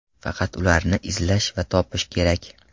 Faqat ularni izlash va topish kerak.